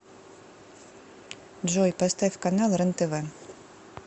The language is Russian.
джой поставь канал рентв